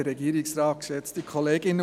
Sie sind bei der BDP!